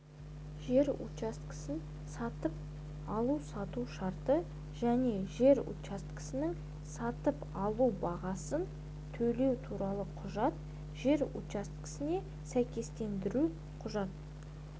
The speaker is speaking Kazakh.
жер учаскесін сатып алу-сату шарты және жер учаскесінің сатып алу бағасын төлеу туралы құжат жер учаскесіне сәйкестендіру құжат